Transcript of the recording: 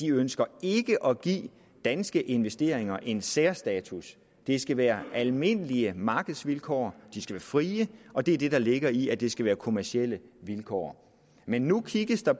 ønsker at give danske investeringer en særstatus det skal være almindelige markedsvilkår og de skal være frie og det er det der ligger i at det skal være kommercielle vilkår men nu kigges der